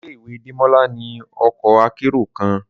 Ile-iwe Demola ni ọkọ akero kan